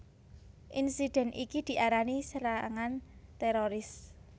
Insidèn iki diarani serangan téroris